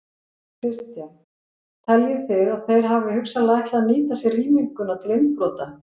Kristján: Teljið þið að þeir hafi hugsanlega ætlað að nýta sér rýminguna til innbrota?